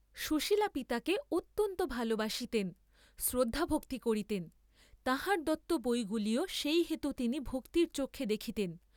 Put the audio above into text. সুশীলা পিতাকে অত্যন্ত ভাল বাসিতেন, শ্রদ্ধাভক্তি করিতেন, তাঁহার দত্ত বইগুলিও সেই হেতু তিনি ভক্তির চক্ষে দেখিতেন।